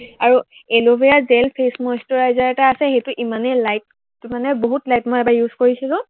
আৰু aloe vera gel face moisturiser এটা আছে, সেইটো ইমানেই light, মানে বহুত light মই এবাৰ use কৰিছিলো